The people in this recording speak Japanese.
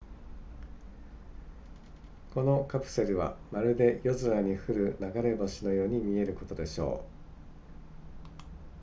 このカプセルはまるで夜空に降る流れ星のように見えることでしょう